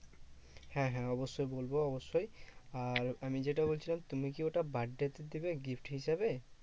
হ্যাঁ হ্যাঁ অবশ্যই বলবো অবশ্যই। আর আমি যেটা বলছিলাম, তুমি কি ওটা birthday তে দেবে gift হিসেবে দেবে?